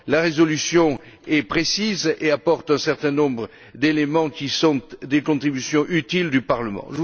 La résolution est précise et apporte un certain nombre d'éléments qui sont des contributions utiles du Parlement.